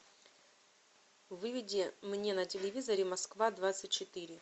выведи мне на телевизоре москва двадцать четыре